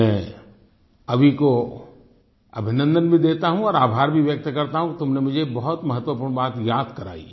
मैं अभि को अभिनन्दन भी देता हूँ और आभार भी व्यक्त करता हूँ कि तुमने मुझको बहुत महत्वपूर्ण बात याद कराई